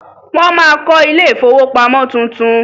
Wọ́n ma kọ ilé ìfowópamọ́ tuntun.